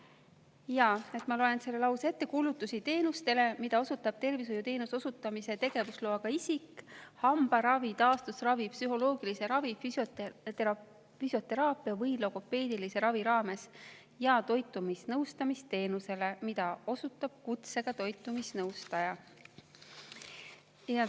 Ma loen selle lause ette: kulutusi teenustele, mida osutab tervishoiuteenuse osutamise tegevusloaga isik hambaravi, taastusravi, psühholoogilise ravi, füsioteraapia või logopeedilise ravi raames, ja toitumisnõustamisteenusele, mida osutab kutsega toitumisnõustaja.